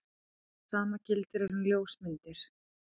Sama gildir um ljósmyndir.